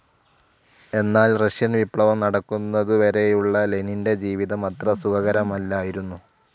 എന്നാൽ റഷ്യൻ വിപ്ലവം നടക്കുന്നതുവരേയുള്ള ലെനിന്റെ ജീവിതം അത്ര സുഖകരമല്ലായിരുന്നു.